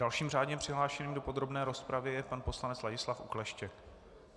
Dalším řádně přihlášeným do podrobné rozpravy je pan poslanec Ladislav Okleštěk.